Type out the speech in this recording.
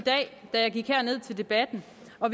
da jeg gik herned til debatten